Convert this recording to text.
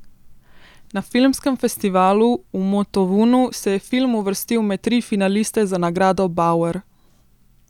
Na filmskem festivalu v Motovunu se je film uvrstil med tri finaliste za nagrado bauer.